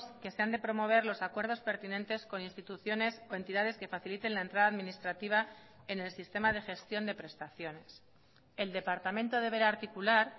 que se han de promover los acuerdos pertinentes con instituciones o entidades que faciliten la entrada administrativa en el sistema de gestión de prestaciones el departamento deberá articular